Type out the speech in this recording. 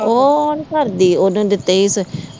ਉਹ ਹ ਨਹੀਂ ਕਰਦੀ ਓਦੋ ਦਿੱਤੇ